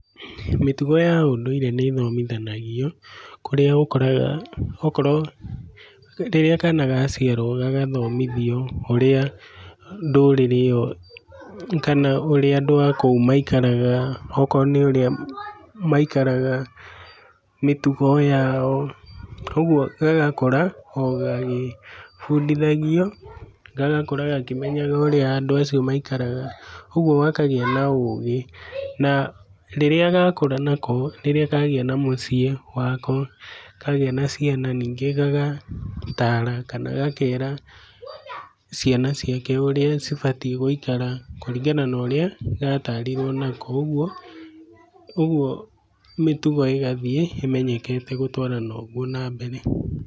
Mĩtugo ya ũndũire nĩ thomithanagio, kũrĩa ũkoraga okorũo rĩrĩa kana gaciarwo gagathomithio ũrĩa ndũrĩrĩ ĩo kana ũrĩa andũ akũu maikaraga. Okorũo nĩ ũrĩa maikaraga, mĩtugo yao, kogũo gagakũra ogagĩbundithagio gagakũra gakĩmenyaga ũrĩa andũ acio maikaraga. Ũguo gakagĩa na ũgĩ na rĩrĩa gakũra nako, rĩrĩa kagĩa na mũciĩ wako, kagĩa na ciana ningĩ gagatara kana gakera ciana ciake ũrĩa cibatiĩ gũikara kũringana na ũrĩa gatarirwo nako. Ũguo, ũguo mĩtugo ĩgathiĩ ĩmenyekete gũtwarana ũgũo na mbere.